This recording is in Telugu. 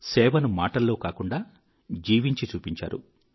సేవను మాటల్లో కాకుండా జీవించి చూపించారు